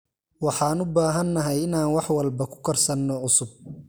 Waxaan u baahanahay inaan wax walba ku karsano cusub.